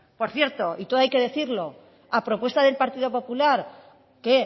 por cierto y todo hay que decirlo a propuesta del partido popular que